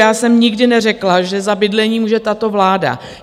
Já jsem nikdy neřekla, že za bydlení může tato vláda.